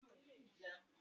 Ṣe o ejò ni ẹhin ẹhin?